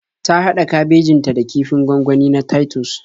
Ta haɗa kabejin ta da kifin gwangwani na Titus